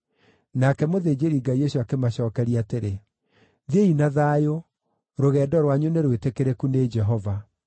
Nake mũthĩnjĩri-Ngai ũcio akĩmacookeria atĩrĩ, “Thiĩi na thayũ. Rũgendo rwanyu nĩ rwĩtĩkĩrĩku nĩ Jehova.”